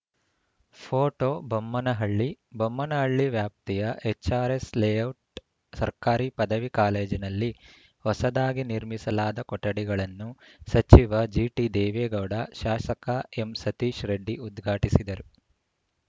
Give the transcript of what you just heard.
photo Bommanahalli Bommanahalli ವ್ಯಾಪ್ತಿಯ HRS layout ಸರ್ಕಾರಿ ಪದವಿ ಕಾಲೇಜಿನಲ್ಲಿ ಹೊಸದಾಗಿ ನಿರ್ಮಿಸಲಾದ ಕೊಠಡಿಗಳನ್ನು ಸಚಿವ ಜಿಟಿದೇವೇಗೌಡ ಶಾಸಕ ಎಂಸತೀಶ್‌ರೆಡ್ಡಿ ಉದ್ಘಾಟಿಸಿದರು